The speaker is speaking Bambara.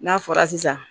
N'a fɔra sisan